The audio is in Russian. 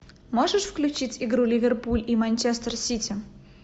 можешь включить игру ливерпуль и манчестер сити